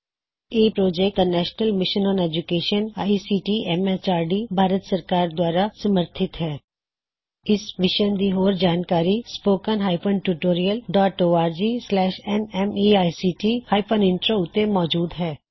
ਇਸ ਮਿਸ਼ਨ ਦੀ ਹੋਰ ਜਾਣਕਾਰੀ spoken tutorialorgnmeict ਇੰਟਰੋ ਉੱਤੇ ਮੌਜੂਦ ਹੈ